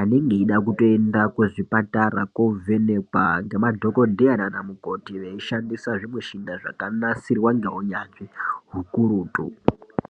anenge eida kutoenda kuzvipatara kovhenekwa ngemadhokodheya nana mukoti veishandisa zvimushini zvakanasirwa ngeunyanzvi hukurutu